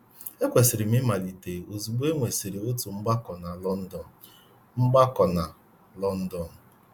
Ekwesịrị m ịmalite ozugbo e nwesịrị otu mgbakọ na London. mgbakọ na London.